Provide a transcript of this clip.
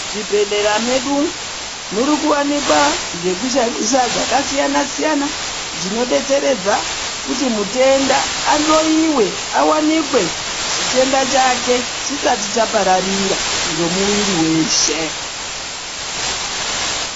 Muzvibhehlera medu muri kuwanikwa zvakasiyana siyana zvinodetseredza kuti mutenda ahloiwe awanikwe chitenda chake chisati chapararira ngemuwiri weshe